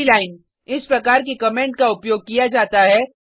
multi line इस प्रकार के कमेंट का उपयोग किया जाता है